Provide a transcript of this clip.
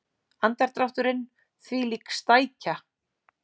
Andardrátturinn: þvílík stækja.